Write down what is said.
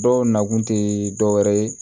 Dɔw nakun tɛ dɔwɛrɛ ye